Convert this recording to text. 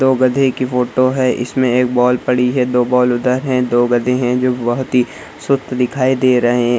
दो गधे की फोटो है इसमें एक बॉल पड़ी है दो बॉल उधर है दो गधे हैंजो बहुत ही सुस्त दिखाई दे रहे।